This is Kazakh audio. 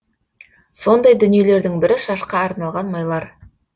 сондай дүниелердің бірі шашқа арналған майлар